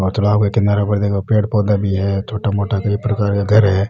और तालाब के किनारे पर देखो पेड़ पौधा भी है छोटा मोटा कई प्रकर का घर है।